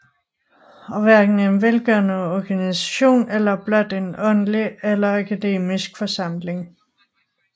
Og hverken en velgørende organisation eller blot en åndelig eller akademisk forsamling